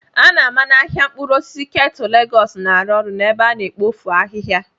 A na-ama na ahịa mkpụrụ osisi Ketu Lagos na-arụ ọrụ n'ebe a na-ekpofu ahihia.